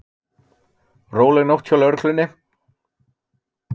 Róleg nótt hjá lögreglunni